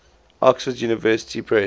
oxford university press